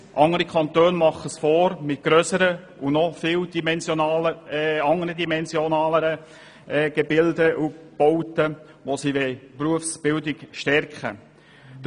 Andere Kantone machen es vor mit grösseren und anders dimensionierten Bauten, mit denen sie die Berufsbildung stärken wollen.